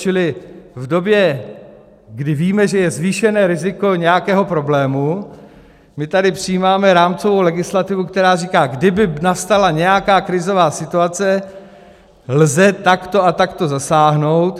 Čili v době, kdy víme, že je zvýšené riziko nějakého problému, my tady přijímáme rámcovou legislativu, která říká: kdyby nastala nějaká krizová situace, lze takto a takto zasáhnout.